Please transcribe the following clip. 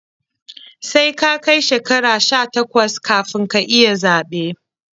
Sai ka kai shekara sha takwas kafin ka iya zaɓe